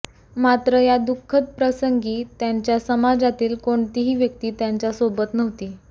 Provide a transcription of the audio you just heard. मात्र या दुःख प्रसंगी त्यांच्या समाजातील कोणतीही व्यक्ती त्यांच्यासोबत नव्हती